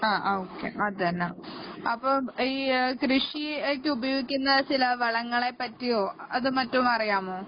ആ ആ ഓക്കെ അത് തന്നെ അപ്പൊ ഈ കൃഷിയ്ക്ക് ഉപയോഗിക്കുന്ന ചില വളങ്ങളെപ്പറ്റിയോ അത് മറ്റും അറിയാമോ